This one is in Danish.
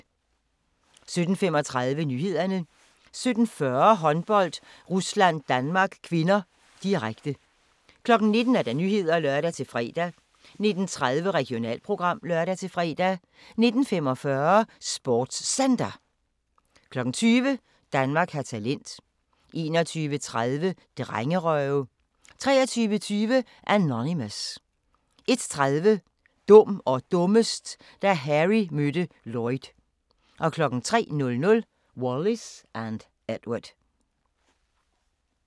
17:35: Nyhederne 17:40: Håndbold: Rusland-Danmark (k), direkte 19:00: Nyhederne (lør-fre) 19:30: Regionalprogram (lør-fre) 19:45: SportsCenter 20:00: Danmark har talent 21:30: Drengerøve 23:20: Anonymous 01:30: Dum og dummest: Da Harry mødte Lloyd 03:00: Wallis & Edward